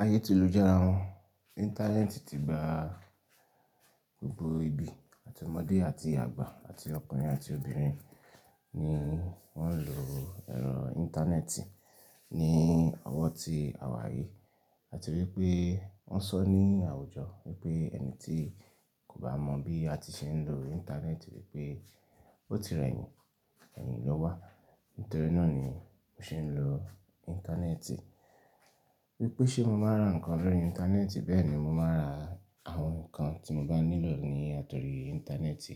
Ayé tí ìlú jẹ́ ara wọn. Íńtánẹ́ẹ̀tì ti gba gbogbo ibi àti ọmọdé àti àgbà àti ọkùnrin àti obìnrin ni wọ́n ń lo ẹ̀rọ íńtánẹ́ẹ̀tì. Ni ọwọ́ ti àwa yií àti wípé wọ́n sọ ní àwùjọ wípé ẹni tí kò bá mọ̀ bí a ti ṣe ń lo íńtánẹ́ẹ̀tì wípé ó ti rẹ̀yìn, ẹ̀yìn lọ́wa. Nítorí náà ni mo ṣe ń lo íńtánẹ́ẹ̀tì. Wípé ṣe mo máa ń rà nǹkan lórí íńtánẹ́ẹ̀tì bẹ́ẹ̀ ni mo máa rà àwọn nǹkan tí mo bá nílò ní àtorí íńtánẹ́ẹ̀tì.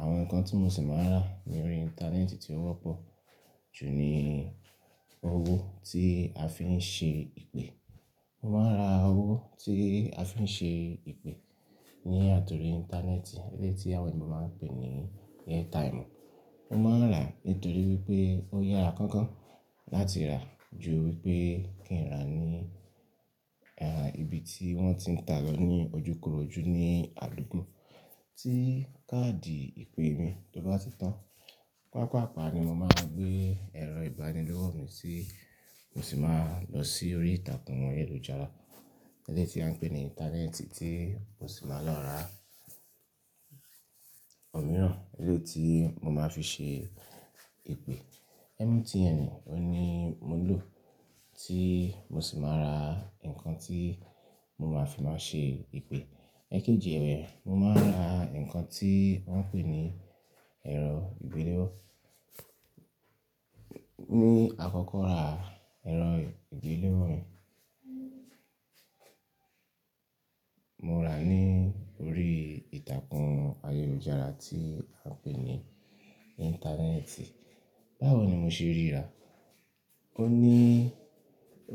Àwọn nǹkan tí mo sì máa ń rà ní orí íńtánẹ́ẹ̀tì tí ó wọ́pọ̀ jù ni owó tí a fi ń ṣe ìpè. Mo máa ń rà owó tí a fi ń ṣe ìpè ní àti orí íńtánẹ́ẹ̀tì eléyìí tí àwọn èèyàn máa ń pè ní Airtime. Mo máa ń rà nítorí wípé ó yára kankan láti rà ju wípé kí ń rà ní, ẹ́ẹ̀, ibi tí wọ́n ti ń ta lọ ní ojúkorojú ní àdúgbò. Tí káàdì ìpè mi tó bá ti tán, pàápàá ni mo máa gbé ẹ̀rọ ìbánidọ́rọ̀ mi tí mo sì máa lọ sí orí ìtàkùn ayélujára eléyìí tí a ń pè ní íńtánẹ́ẹ̀tì tí mo sì máa lọ rà ọ̀ mìíràn eléyìí tí mo máa fi ṣe ìpè. MTN òun ni mo lò tí mo sì máa ra nǹkan tí mo máa fi máa ṣe ìpè. Ẹ kéji ẹ̀, mo máa ń rà nǹkan tí wọ́n ń pè ní ẹ̀rọ ìgbéléwọ́. Ní àkọ́kọ́ rà ẹ̀rọ ìgbéléwọ́ mi, mo rà á ní orí ìtàkùn ayélujára tí a ń pè ní íńtánẹ́ẹ̀tì. Báwo ni mo ṣe rí rà? Ó ní,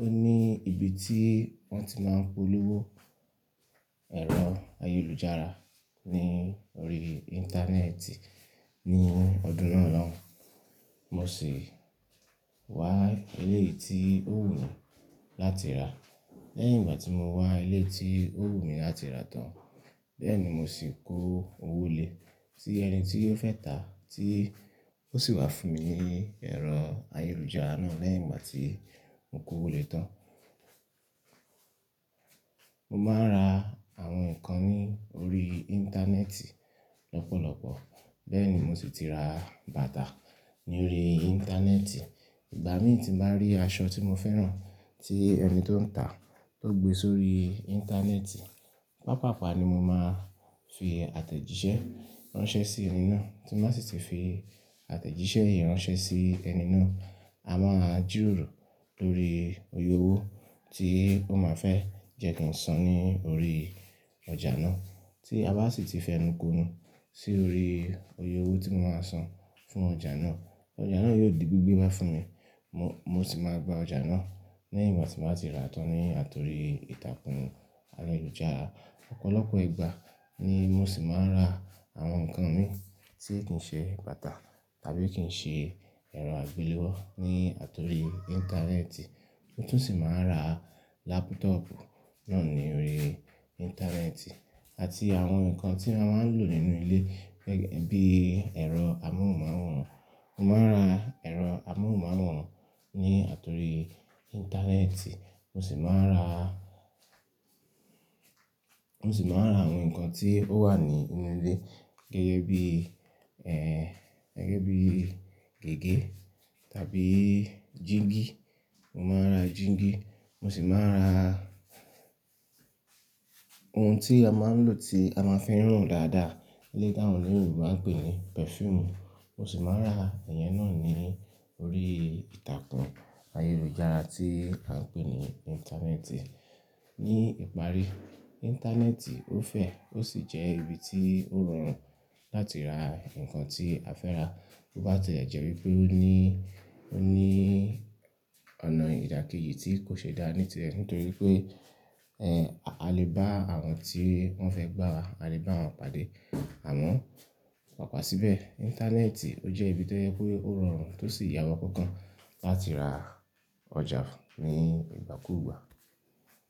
ó ní ibi tí wọ́n ti máa polówó ẹ̀rọ ayélujára ní orí íńtánẹ́ẹ̀tì. Ni ọdún náà lóun, mo sì wá eleyi tí ó wù láti rà. Lẹ́yìn ìgbà tí mo wá ilé tí ó wù mí láti rà tán, bẹ́ẹ̀ ni mo sì kó owó lé sí ẹni tí ó fẹ́ ta tí ó sì wá fún mi ní ẹ̀rọ ayélujára náà lẹ́yìn ìgbà tí mo kó owó lé tán. Mo máa ń rà àwọn nǹkan ní orí íńtánẹ́ẹ̀tì lọ́pọ̀lọ́pọ̀. Bẹ́ẹ̀ ni mo sì ti ra bàtà ní orí íńtánẹ́ẹ̀tì. Ìgbà mí tí màá rí aṣọ tí mo fẹ́ràn tí ẹni tó ń ta tó gbé sórí íńtánẹ́ẹ̀tì, pàápàá ni mo máa fi àtẹ̀jíṣẹ́ ránṣẹ́ sí ẹni náà. Tí màá sì ti fi àtẹ̀jíṣẹ́ yìí ránṣẹ́ sí ẹni náà, a máa ji ọ̀rọ̀ lórí oyè owó tí ó máa fẹ́ jẹ́ kí n san ní orí ọjà náà tí a bá sì ti fẹnukonu sí orí oyè owó tí mo máa san fún ọjà náà. Ọjà náà yóò di gbígbé ná fún mi. Mo, mo sì máa gba ọjà náà lẹ́yìn ìgbà tí màá ti rà á tán ní àtorí ìtàkùn ayélujára. Ọ̀pọ̀lọpọ̀ ìgbà ni mo sì máa ń rà àwọn nǹkan mi tí kì í ṣe bàtà tàbí kì í ṣe ẹ̀rọ agbéléwọ́ ní àtorí íńtánẹ́ẹ̀tì. Tótúnṣì máa ń rà lápútọọ̀pù náà ní orí íńtánẹ́ẹ̀tì àti àwọn nǹkan tí a máa ń lò nínú ilé gẹ́gẹ́ bí ẹ̀rọ amóhùnmáwòrán. Mo máa ń rà ẹ̀rọ amóhùnmáwòrán ní àtorí íńtánẹ́ẹ̀tì. Mo sì máa ń rà, mo sì máa ń ra àwọn nǹkan tí ó wà ní inú ilé gẹ́gẹ́ bí, ẹ́ẹ̀, gẹ́gẹ́ bí gègé tàbí jííńgì. Mo máa ń rà jííńgì, mo sì máa ń rà ohun tí a máa ń lò tí a máa ń fi n rùn dáadáa eléyìí tí àwọn Yorùbá ń pè ní pẹ̀fúùmù. Mo sì máa ń rà iyẹn náà ní orí ìtàkùn ayélujára tí a ń pè ní íńtánẹ́ẹ̀tì. Ni ìparí, íńtánẹ́ẹ̀tì ó fẹ̀, ó sì jẹ́ ibi tí ó rọrùn láti rà nǹkan tí a fẹ́ rà. Ó bá ti jẹ́ wípé ó ní, ó ní ọ̀nà ìdàkejì tí kò ṣe dáa níte, nítorí pé, a lè bá àwọn tí wọ́n fẹ́ gbá wa, a lè bá wọn pàdé. Àmọ́ pàápàá síbẹ̀, íńtánẹ́ẹ̀tì ó jẹ́ ibi tó jẹ́ wípé ó rọrùn tó sì yàwọ́ kankan láti ra ọjà ní ìgbàkúùgbà.